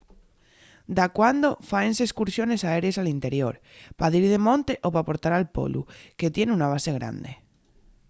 dacuando fáense escursiones aérees al interior pa dir de monte o p’aportar al polu que tien una base grande